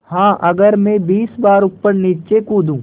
हाँ अगर मैं बीस बार ऊपरनीचे कूदूँ